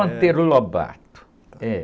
Lobato, é.